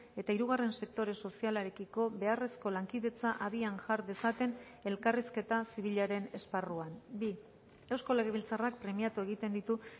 eta hirugarren sektore sozialarekiko beharrezko lankidetza abian jar dezaten elkarrizketa zibilaren esparruan bi eusko lege biltzarrak premiatu egiten ditu